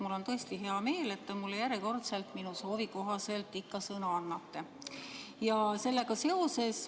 Mul on tõesti hea meel, et te mulle järjekordselt minu soovi kohaselt ikka sõna annate.